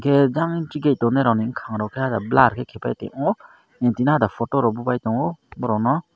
tei gansike tongrai rokni mokang rok ke blur ke kaipa tongmo em timi photo rok bow bai tongo borok no.